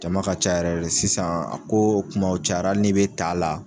Jama ka ca yɛrɛ de sisan, a ko kumaw cayara hali n'i bɛ t'a la,